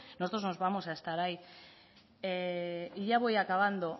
nosotros vamos a estar ahí y ya voy acabando